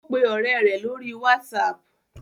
O pe ore re lori whatsapp